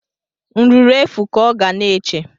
Nruro efu ka ọ ga na-eche